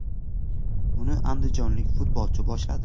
Uni andijonlik futbolchi boshladi.